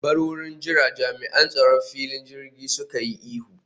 Bar wurin jira!, Jami'an tsaron filin jirgin suka yi ihu